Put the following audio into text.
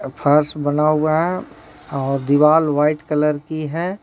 फर्स बना हुआ है और दीवाल व्हाइट कलर की है।